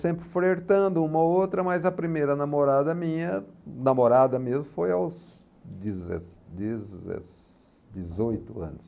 Sempre flertando uma ou outra, mas a primeira namorada minha, namorada mesmo, foi aos deze dezes dezoito anos.